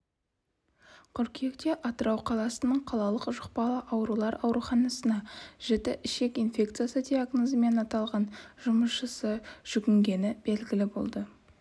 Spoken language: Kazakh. қыркүйекте атырау қаласының қалалық жұқпалы аурулар ауруханасына жіті ішек инфекциясы диагнозымен аталған жұмысшысы жүгінгені белгілі болды